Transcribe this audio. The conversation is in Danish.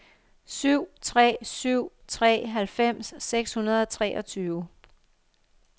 syv tre syv tre halvfems seks hundrede og treogtyve